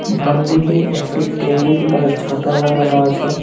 বামদিকে একটি টেবিল আর ছাতা লাগানো আছে।